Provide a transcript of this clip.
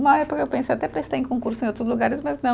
Uma época eu pensei, até prestei em concurso em outros lugares, mas não.